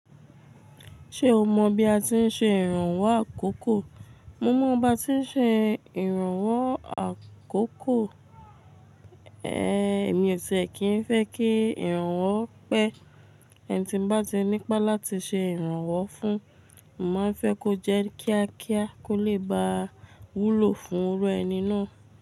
Ṣé o mọ̀ bí a ti ń ṣe ìrànwọ́ àkókò? Mo mọ̀ bí a ti ń ṣe ìrànwọ́ àkókò. Ehn, èmi ò ṣe kì í fẹ́ kí ìrànwọ́ pẹ́. Ẹni tí bá ti nípá láti ṣe ìrànwọ́ fún, mo máa fẹ́ kó jẹ́ kíákíá kó lè ba wúlò fún irú ẹni náà.